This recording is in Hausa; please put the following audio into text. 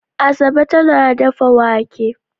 Asabe tana dafa wake.